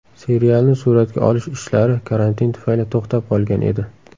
Serialni suratga olish ishlari karantin tufayli to‘xtab qolgan edi.